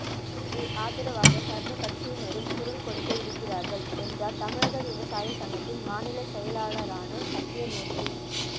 இதற்கு ஆதரவாக சர்வ கட்சியினரும் குரல் கொடுக்க இருக்கிறார்கள் என்றார் தமிழக விவசாய சங்கத்தின் மாநில செயலாளரான சத்தியமூர்த்தி